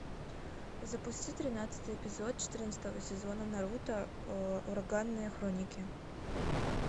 запусти тринадцатый эпизод четырнадцатого сезона наруто ураганные хроники